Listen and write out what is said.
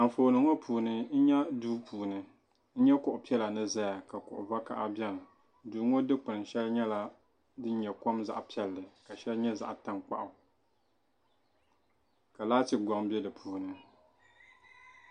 Anfooni ŋɔ puuni n nya duu puuni n nya kuɣu piɛla ni zaya kuɣ'bakaha biɛni duu ŋɔ dikpin'sheŋa nyɛla din nyɛ kom zaɣa piɛli sheli nyɛ zaɣa tankpaɣu ka laati goŋ be di puuni.